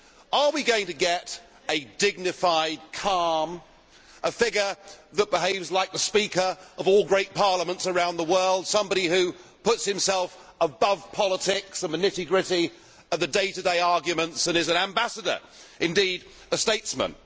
Are we going to get a dignified, calm figure who behaves like the Speaker of all great parliaments around the world, somebody who puts himself above politics and the nitty gritty of the day to day arguments and is an ambassador, indeed a statesman?